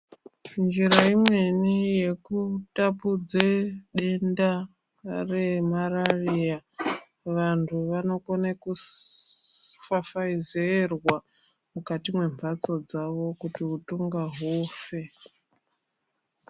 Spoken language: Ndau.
Njira imweni yekutapudze denda remarariya, vantu vanokone kufafayizerwa mukati membatso dzavo kuti wutunga wufe.